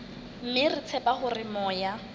mme re tshepa hore moya